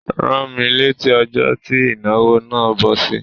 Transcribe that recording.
Rán mí létí ọjó ti ìnáwó nà bọ́ sí!